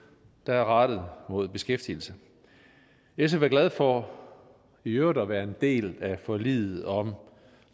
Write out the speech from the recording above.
der er rettet mod beskæftigelse sf er glade for i øvrigt at være en del af forliget om